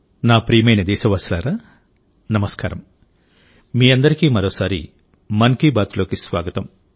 నా ప్రియమైన దేశవాసులారా నమస్కారం మీ అందరికీ మరోసారి మన్ కీ బాత్లోకి స్వాగతం